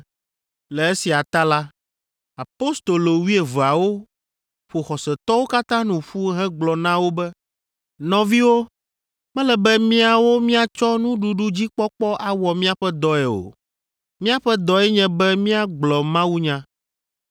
Le esia ta la, apostolo wuieveawo ƒo xɔsetɔwo katã nu ƒu hegblɔ na wo be, “Nɔviwo, mele be míawo míatsɔ nuɖuɖudzikpɔkpɔ awɔ míaƒe dɔe o. Míaƒe dɔe nye be míagblɔ mawunya.